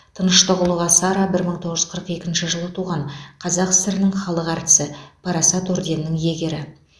тыныштығұлова сара бір мың тоғыз жүз қырық екінші жылы туған қазақ сср інің халық әртісі парасат орденінің иегері